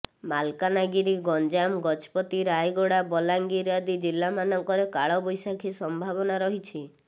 ମାଲକାନଗାରି ଗଞ୍ଜାମ ଗଜପତି ରାୟଗଡ଼ା ବଲାଙ୍ଗିର ଆଦି ଜିଲ୍ଲାମାନଙ୍କରେ କାଳବୈଶାଖୀ ସମ୍ଭାବନା ରହିଛି